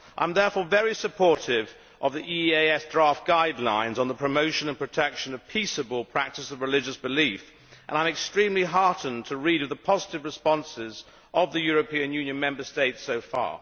I am therefore very supportive of the EEAS draft guidelines on the promotion and protection of peaceable practice of religious belief and I am extremely heartened to read of the positive responses of the European Union Member States so far.